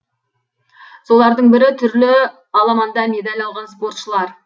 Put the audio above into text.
солардың бірі түрлі аламанда медаль алған спортшылар